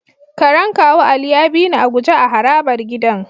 Karen kawu Ali ya bini a guje a harabar gidan.